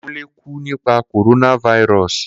Kunle ku nipa coronavirus.